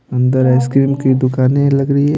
अंदर आइसक्रीम की दुकानें लग रही ।